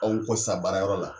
Anw ko sa baara yɔrɔ la